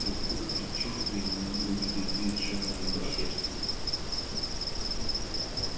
и вдруг предчувствие неминуемой беды сжало ему сердце